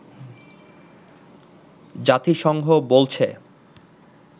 জাতিসংঘ বলছে